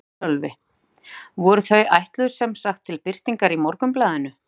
Sölvi: Voru þau ætluð sem sagt til birtingar í Morgunblaðinu?